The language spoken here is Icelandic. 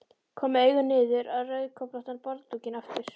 Kom með augun niður á rauðköflóttan borðdúkinn aftur.